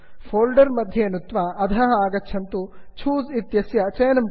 folder folder मध्ये नुत्त्वा अधः आगच्छन्तु चूसे छूस् इत्यस्य चयनं कुर्वन्तु